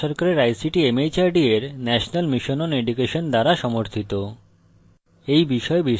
এটি ভারত সরকারের ict mhrd এর national mission on education দ্বারা সমর্থিত